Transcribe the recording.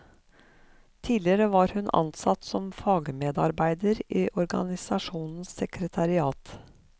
Tidligere var hun ansatt som fagmedarbeider i organisasjonens sekretariat.